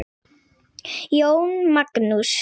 Jón Magnús.